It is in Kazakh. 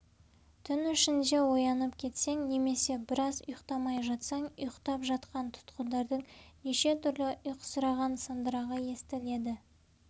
түн ішінде оянып кетсең немесе біраз ұйықтамай жатсаң ұйықтап жатқан тұтқындардың неше түрлі ұйқысыраған сандырағы естіледі